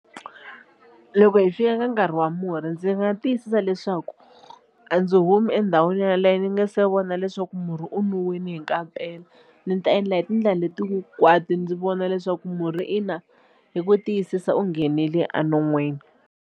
Loko hi fika ka nkarhi wa murhi ndzi nga tiyisisa leswaku a ndzi humi endhawini yaleyo ni nga se vona leswaku murhi u nwiwile hi kampela ndzi ta endla hi tindlela leti hinkwato ndzi vona leswaku murhi ina hi ku tiyisisa u nghenile enon'wini.